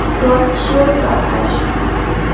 Þú varst svo frábær.